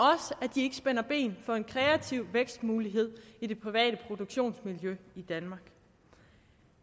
ikke spænder ben for en kreativ vækstmulighed i det private produktionsmiljø i danmark